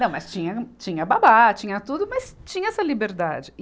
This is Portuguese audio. Não, mas tinha, tinha babá, tinha tudo, mas tinha essa liberdade.